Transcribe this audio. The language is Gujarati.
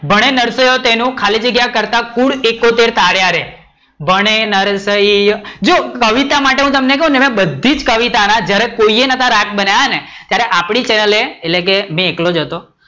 ભણે નરસૈંયો એના તેનું ખાલી જગ્યા કરતા કુલઇકોતર તાર્યા રે, ભણે નરસૈંયો, જો કવિતા માટે હું તમને ક્વ ને એમાં બધી જ કવિતા ના જયારે કોઈએ રાગ નતા બનાવ્યા ત્યારે એટલે કે મેં એકલો જ હતો